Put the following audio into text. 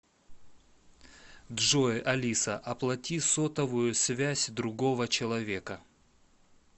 джой алиса оплати сотовую связь другого человека